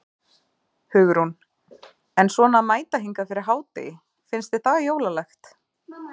Hugrún: En svona að mæta hingað fyrir hádegi, finnst þér það jólalegt?